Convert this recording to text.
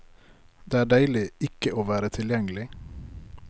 Det er deilig ikke å være tilgjengelig.